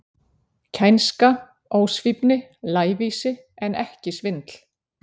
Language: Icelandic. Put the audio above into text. Kænska, ósvífni, lævísi, en ekki svindl.